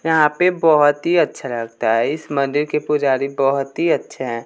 यहां पे बहुत ही अच्छा लगता है इस मंदिर के पुजारी बहुत ही अच्छे हैं।